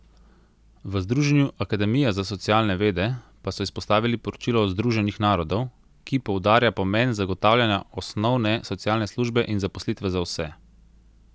V Združenju akademija za socialne vede pa so izpostavili poročilo Združenih narodov, ki poudarja pomen zagotavljanja osnovne socialne službe in zaposlitve za vse.